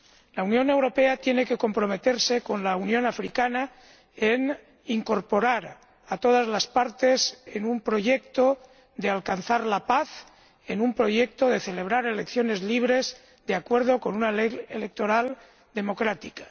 La Unión Europea tiene que comprometerse con la Unión Africana a incorporar a todas las partes en un proyecto para alcanzar la paz, en un proyecto para celebrar elecciones libres, de acuerdo con una ley electoral democrática.